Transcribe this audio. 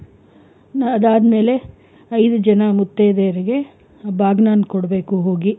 ಅದಾದ್ಮೇಲೆ ಐದು ಜನ ಮುತ್ತೈದೆ ಯರಿಗೆ ಬಾಗ್ನಾನ್ ಕೊಡ್ಬೇಕು ಹೋಗಿ.